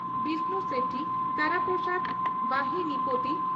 Bishnu Sethi Tara Prasad Bahinipati